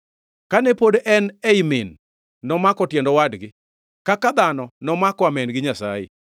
Kane pod en ei min nomako tiend owadgi, kaka dhano nomako amen gi Nyasaye.